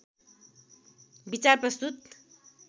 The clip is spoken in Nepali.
विचार प्रस्तुत